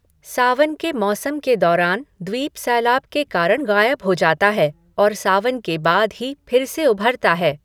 सावन के मौसम के दौरान द्वीप सैलाब के कारण गायब हो जाता है, और सावन के बाद ही फिर से उभरता है।